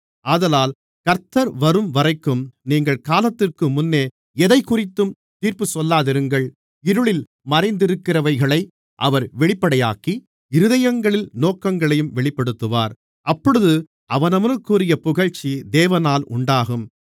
ஆதலால் கர்த்தர் வரும்வரைக்கும் நீங்கள் காலத்திற்குமுன்னே எதைக்குறித்தும் தீர்ப்புச்சொல்லாதிருங்கள் இருளில் மறைந்திருக்கிறவைகளை அவர் வெளிப்படையாக்கி இருதயங்களின் நோக்கங்களையும் வெளிப்படுத்துவார் அப்பொழுது அவனவனுக்குரிய புகழ்ச்சி தேவனால் உண்டாகும்